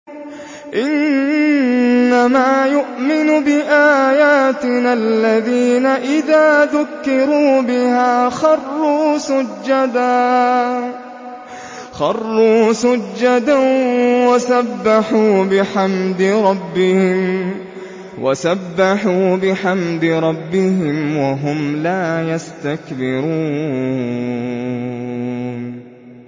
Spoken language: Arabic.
إِنَّمَا يُؤْمِنُ بِآيَاتِنَا الَّذِينَ إِذَا ذُكِّرُوا بِهَا خَرُّوا سُجَّدًا وَسَبَّحُوا بِحَمْدِ رَبِّهِمْ وَهُمْ لَا يَسْتَكْبِرُونَ ۩